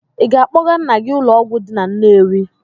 Ị ga-akpọga nna gị ụlọọgwụ dị na Nnewi.